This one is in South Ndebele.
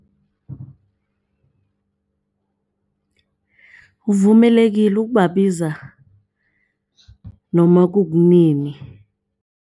Uvumelekile ukubabiza noma kunini.